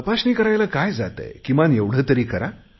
तपासणी करायला काय जातय किमान एवढे तरी करु